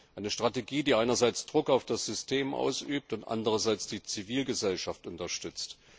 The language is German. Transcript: Eine Strategie, die einerseits Druck auf das System ausübt und andererseits die Zivilgesellschaft unterstützt.